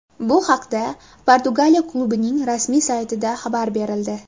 Bu haqda Portugaliya klubining rasmiy saytida xabar berildi .